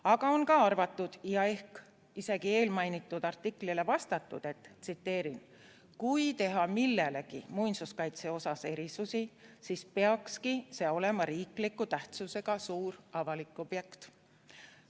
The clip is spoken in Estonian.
Aga on ka arvatud ja ehk isegi eelmainitud artiklile vastatud: "Kui teha millelegi muinsuskaitse osas erisusi, siis peakski see olema riikliku tähtsusega suur avalik objekt.